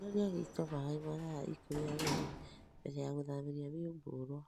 ĩtĩrĩrĩa gĩĩto maĩ mathaa ĩkũmĩ na merĩ mbele ya gũthamĩa mĩũngũrũa